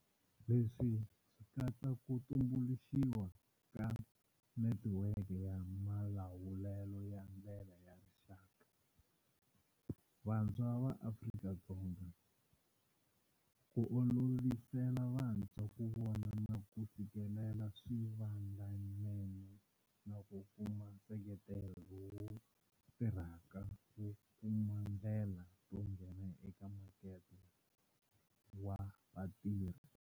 Leswi swi katsa ku tumbuluxiwa ka Netiweke ya Malawulelo ya Ndlela ya Rixaka, Vantshwa va Afrika-Dzonga, ku olovisela vantshwa ku vona na ku fikelela swivandlanene na ku kuma nseketelo lowu tirhaka wo kuma ndlela to nghena eka makete wa vatirhi.